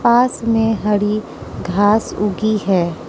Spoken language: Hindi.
पास में हरी घास उगी है।